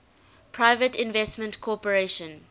private investment corporation